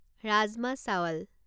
rajma chawal